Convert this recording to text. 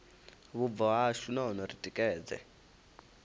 vhubvo hashu nahone ri tikedze